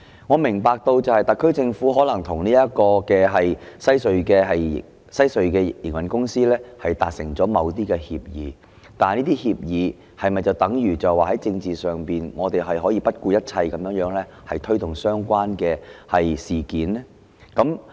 我明白特區政府可能與西區海底隧道的營運公司達成某些協議，但這是否等於可以在政治上不顧一切地推動相關的事宜呢？